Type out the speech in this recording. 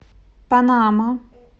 панама